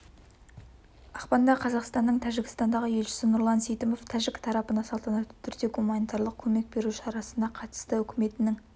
ақпанда қазақстанның тәжікстандағы елшісі нурлан сейтимов тәжік тарапына салтанатты түрде гуманитарлық көмек беру шарасына қатысты үкіметінің